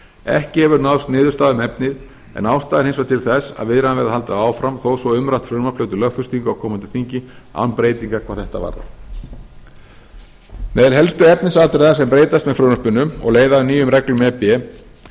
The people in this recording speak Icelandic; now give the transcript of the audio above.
ekki hefur náðst niðurstaða um efnið en ástæða er hins vegar til þess að viðræðum verði haldið áfram þó svo að umrætt frumvarp hljóti lögfestingu á komandi þingi án breytinga hvað þetta varðar meðal helstu efnisatriða sem breytast með frumvarpinu og leiða af nýjum reglum e b